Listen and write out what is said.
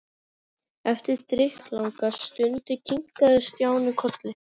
Eftir drykklanga stund kinkaði Stjáni kolli.